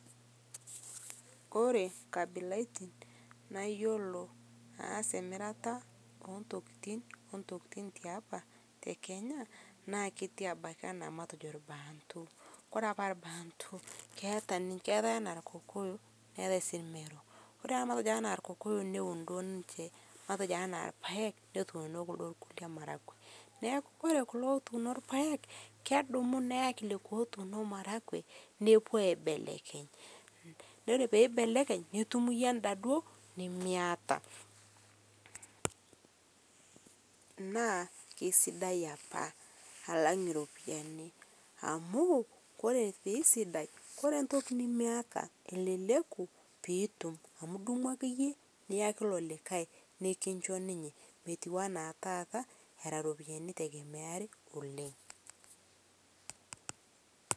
Kore kabilaitin nayoloo aas emirata entokitin te apaa te Kenya naa ketii abakii ana matejoo lbantuu kore apaa lbantuu keata ninshe keata enaa lkokoyoo neatai sii lmeroo kore ana matejo lkokoyo newun duo ninshee matejoo anaa lpaeg, notuno kuldoo lkule maragwee naaku kore kuloo etuuno lpaeg kedumuu neyakii lekwaa etuuno maragwee nepuo aibelekeny. Kore peibelekeny nitum yie andaa duo nimiata naa keisidai apaa alang' ropiyani amu kore peisidai kore ntoki nimiata eleleku piitum amu idimuu akeyee niyakii iloo likai nikinshoo ninyee metuwanaa taata era ropiyani eitegemearii oleng'.